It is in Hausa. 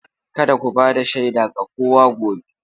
Kada ku ba da shaida ga kowa gobe!